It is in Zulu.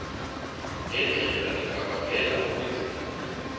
ngendlela engabangela ubunzima